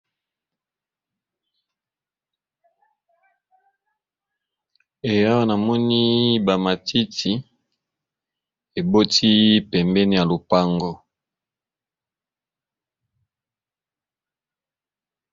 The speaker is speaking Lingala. Ee awa namoni ba matiti eboti pembeni ya lupango